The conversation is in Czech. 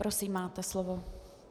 Prosím, máte slovo.